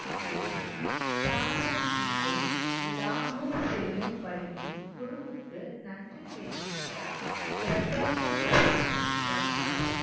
ஏழில் தாராஷிகோ லாகூர் செல்லும் வழியில் குருவுக்கு நன்றி தெரிவிக்க கிரத்தாபூர் சாகிப் வந்தார்